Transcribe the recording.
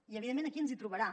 i evidentment aquí ens hi trobarà